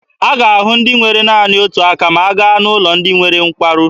A ga-ahụ ndị nwere naanị otu aka ma a gaa n'ụlọ ndị nwere nkwarụ.